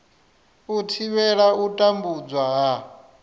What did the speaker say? u thivhela u tambudzwa ha